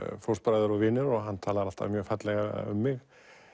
fóstbræður og vinir og hann talar alltaf mjög fallega um mig